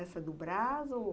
Essa do Brás ou...?